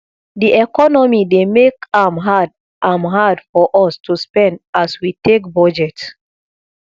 di economy dey make am hard am hard for us to spend as we take budget